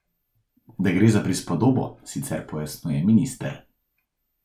Da gre za prispodobo, sicer pojasnjuje minister.